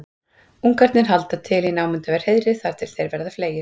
ungarnir halda til í námunda við hreiðrið þangað til þeir verða fleygir